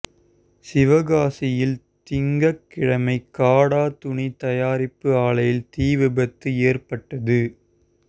சிவகாசியில் திங்கள்கிழமை காடா துணி தயாரிப்பு ஆலையில் தீ விபத்து ஏற்பட்டது